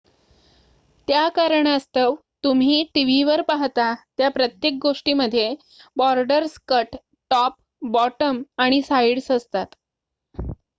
त्या कारणास्तव तुम्ही टीव्हीवर पाहता त्या प्रत्येक गोष्टीमध्ये बॉर्डर्स कट टॉप बॉटम आणि साइड्स असतात